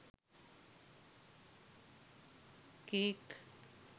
cake